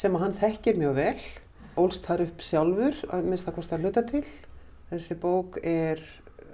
hann þekkir mjög vel ólst þar upp sjálfur að minnsta kosti að hluta til þessi bók er